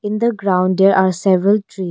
In the ground there are several tree.